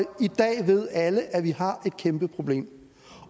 i dag ved alle at vi har et kæmpe problem